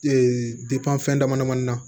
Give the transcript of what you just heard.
fɛn dama damani na